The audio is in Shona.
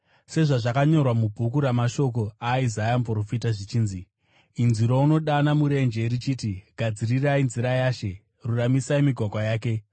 Sezvazvakanyorwa mubhuku ramashoko aIsaya muprofita zvichinzi: “Inzwi rounodana murenje richiti, ‘Gadzirai nzira yaShe, ruramisai migwagwa yake.